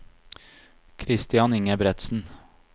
Christian Ingebretsen